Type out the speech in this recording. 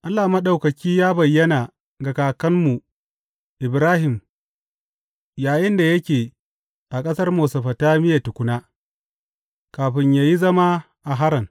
Allah mai ɗaukaka ya bayyana ga kakanmu Ibrahim yayinda yake a ƙasar Mesofotamiya tukuna, kafin ya yi zama a Haran.